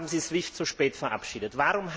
Warum haben Sie SWIFT so spät verabschiedet?